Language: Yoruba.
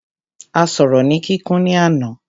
A sọ̀rọ̀ ni kíkún ní àná.